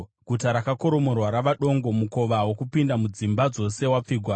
Guta rakoromorwa rava dongo; mukova wokupinda mudzimba dzose wapfigwa.